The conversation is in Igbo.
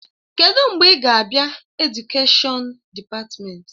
Kedụ mgbe ị ga-abịa Edukèshọn dịpatmenti?